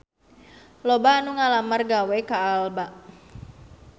Loba anu ngalamar gawe ka Alba